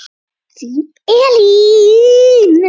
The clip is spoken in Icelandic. Þín Elín.